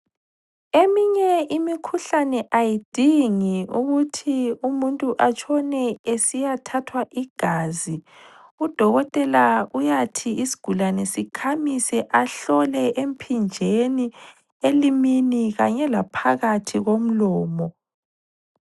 Eminye imikhuhlane ayidingi ukuthi umuntu atshone esiyathathwa igazi, udokotela uyathi isigulane sikhamise ahlole emphinjeni, elimini kanye laphakathi komlomo.